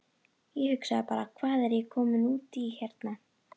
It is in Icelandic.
Ég hugsaði bara: Hvað er ég kominn út í hérna?